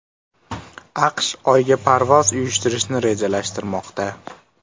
AQSh Oyga parvoz uyushtirishni rejalashtirmoqda.